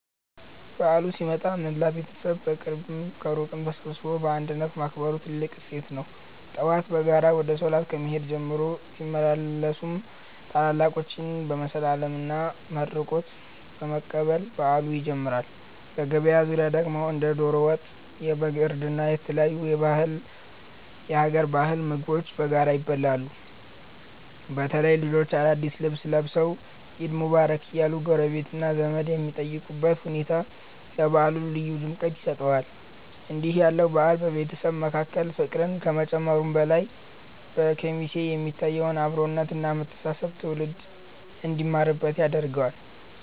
በዓሉ ሲመጣ መላው ቤተሰብ ከቅርብም ከሩቅም ተሰባስቦ በአንድነት ማክበሩ ትልቁ እሴት ነው። ጠዋት በጋራ ወደ ሶላት ከመሄድ ጀምሮ፣ ሲመለሱም ታላላቆችን በመሳለምና መርቆት በመቀበል በዓሉ ይጀምራል። በገበታ ዙሪያ ደግሞ እንደ ዶሮ ወጥ፣ የበግ እርድ እና የተለያዩ የሀገር ባህል ምግቦች በጋራ ይበላሉ። በተለይ ልጆች አዳዲስ ልብስ ለብሰው "ዒድ ሙባረክ" እያሉ ጎረቤትና ዘመድ የሚጠይቁበት ሁኔታ ለበዓሉ ልዩ ድምቀት ይሰጠዋል። እንዲህ ያለው በዓል በቤተሰብ መካከል ፍቅርን ከመጨመሩም በላይ፣ በኬሚሴ የሚታየውን አብሮነት እና መተሳሰብ ትውልድ እንዲማርበት ያደርጋል።